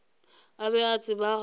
a be a tseba gabotse